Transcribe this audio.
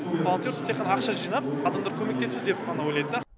волонтерство тек қана ақша жинап адамдар көмектесу деп қана ойлайды да